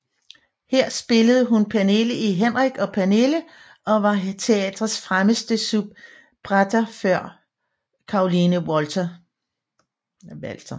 Her spillede hun Pernille i Henrik og Pernille og var teatrets fremmeste soubrette før Caroline Walter